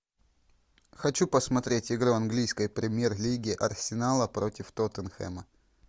хочу посмотреть игру английской премьер лиги арсенала против тоттенхэма